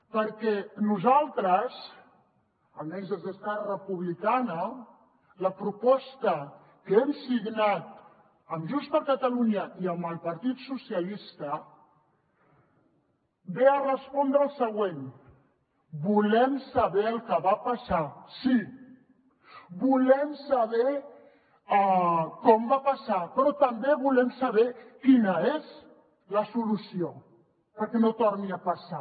perquè nosaltres almenys des d’esquerra republicana la proposta que hem signat amb junts per catalunya i amb el partit socialistes ve a respondre al següent volem saber el que va passar sí volem saber com va passar però també volem saber quina és la solució perquè no torni a passar